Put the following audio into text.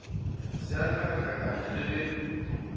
se a hlakahlakanya le ge